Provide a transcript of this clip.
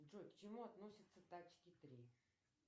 джой к чему относятся тачки три